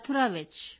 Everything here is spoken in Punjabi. ਮਥੁਰਾ ਵਿੱਚ